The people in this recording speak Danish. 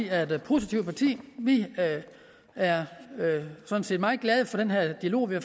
er et positivt parti vi er sådan set meget glade for den her dialog vi har